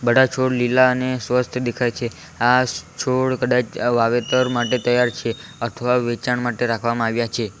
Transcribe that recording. આ છોડ લીલા અને સ્વસ્થ દેખાય છે આ છોડ કદાચ આ વાવેતર માટે તૈયાર છે અથવા વેચાણ માટે રાખવામાં આવ્યા છે.